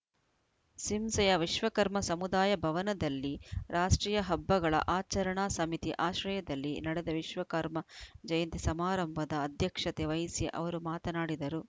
ಸಿಂಸೆಯ ವಿಶ್ವಕರ್ಮ ಸಮುದಾಯ ಭವನದಲ್ಲಿ ರಾಷ್ಟ್ರೀಯ ಹಬ್ಬಗಳ ಆಚರಣಾ ಸಮಿತಿ ಆಶ್ರಯದಲ್ಲಿ ನಡೆದ ವಿಶ್ವ ಕರ್ಮ ಜಯಂತಿ ಸಮಾರಂಭದ ಅಧ್ಯಕ್ಷತೆ ವಹಿಸಿ ಅವರು ಮಾತನಾಡಿದರು